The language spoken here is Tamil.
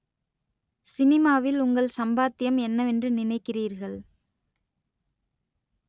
சினிமாவில் உங்கள் சம்பாத்தியம் என்னவென்று நினைக்கிறீர்கள்